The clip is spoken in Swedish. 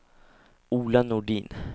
Ola Nordin